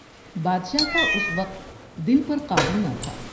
بادشاہ کا اس وقت دل پر قابو نہ تھا ۔